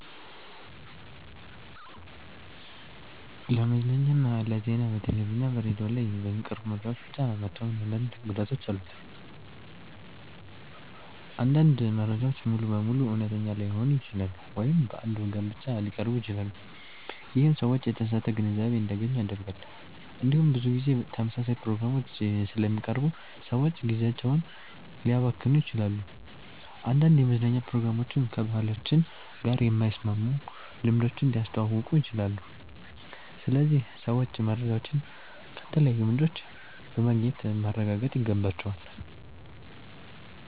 ለመዝናኛና ለዜና በቴሌቪዥን እና በሬዲዮ ላይ በሚቀርቡ መረጃዎች ብቻ መተማመን አንዳንድ ጉዳቶች አሉት። አንዳንድ መረጃዎች ሙሉ በሙሉ እውነተኛ ላይሆኑ ይችላሉ ወይም በአንድ ወገን ብቻ ሊቀርቡ ይችላሉ። ይህም ሰዎች የተሳሳተ ግንዛቤ እንዲያገኙ ያደርጋል። እንዲሁም ብዙ ጊዜ ተመሳሳይ ፕሮግራሞች ስለሚቀርቡ ሰዎች ጊዜያቸውን ሊያባክኑ ይችላሉ። አንዳንድ የመዝናኛ ፕሮግራሞችም ከባህላችን ጋር የማይስማሙ ልምዶችን ሊያስተዋውቁ ይችላሉ። ስለዚህ ሰዎች መረጃዎችን ከተለያዩ ምንጮች በማግኘት ማረጋገጥ ይገባቸዋል።